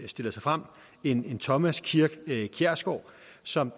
stiller sig frem en thomas kirk kjærsgaard som